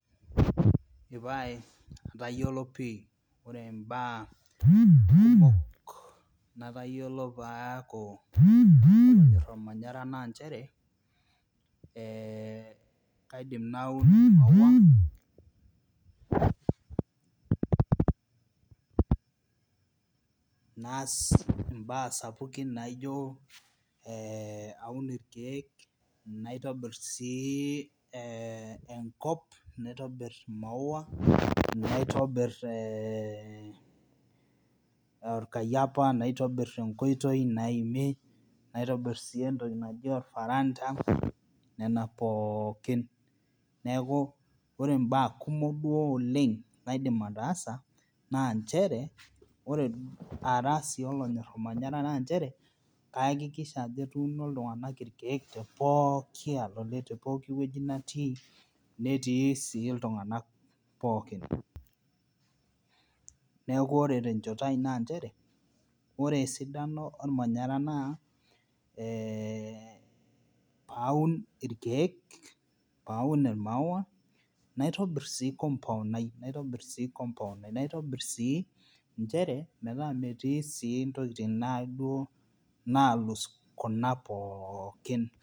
Epae atayiolo pih ore im'baa kumok natayiolo paaku olonyor olmanyara naa nchere eeh kaidim naun imaua naas imbaa sapukin naijo aun ilkiek naitobir sii enkop naitobir imaua naitaobir olkayiapa naitobir enkoitoi naimi naitobir sii entoki naji olfaranda nena pookin Neeku ore imbaa kumok duo oleng naidim ataasa naa nchere ore ara sii olonyor olmanyara naa nchere ayakikisha ajo etuuno sii iltunganak ilkiek te pooki alole tepookiwueji natii netii sii iltunganak pookin neeku ore tenchoto ai naa nchere ore esidano olmanyara naa paaun ilkiek paun imaua naitobir sii compound ai naitobir sii nchere metaa metii sii intokiting nalus kuna pookin.